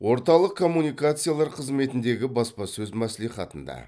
орталық коммуникациялар қызметіндегі баспасөз мәслихатында